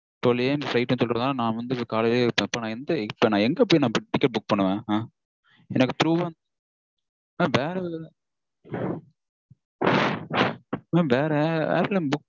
காலைலயே எனக்கு flight -னு சொல்றதுனால காலைலயே இப்போ இப்போ நா எங்க எங்க போய் ticket book பண்ணுவேன் அஹ் எனக்கு through -ஆ mam எனக்கு வேற mam வேற airline book